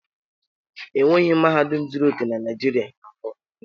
E nweghi mahadum zuru oke na Naịjirịa na mbụ.